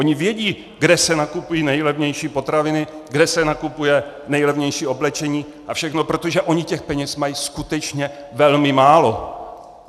Oni vědí, kde se nakupují nejlevnější potraviny, kde se nakupuje nejlevnější oblečení a všechno, protože oni těch peněz mají skutečně velmi málo.